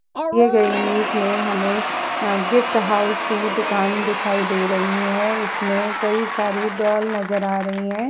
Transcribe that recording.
दिए गए इमेज में हमें अ गिफ्ट हाउस की दुकान दिखाई दे रही है। इसमें कई सारे डॉल नजर आ रही हैं।